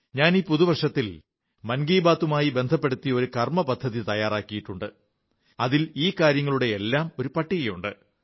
ഞാൻ ഈ പുതു വർഷത്തിൽ മൻ കീ ബാത്തുമായി ബന്ധപ്പെടുത്തി ഒരു കാര്യപദ്ധതി തയ്യാറാക്കിയിട്ടുണ്ട് അതിൽ ഈ കാര്യങ്ങളുടെയെല്ലാം ഒരു പട്ടികയുണ്ട്